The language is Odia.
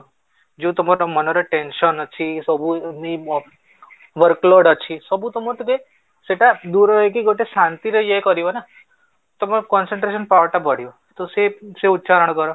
ଯୋଉ ତୁମ ତୁମ ମନରେ tension ଅଛି, ସବୁ workload ଅଛି ସବୁ ତୁମ ଟିକେ ସେଟା ଦୂର ହେଇକି ଗୋଟେ ଶାନ୍ତିରେ ଇଏ କରିବ ନା ତମ concentration power ଟା ବଢିବ ତ ସେଇ ଉଚ୍ଚାରଣ କର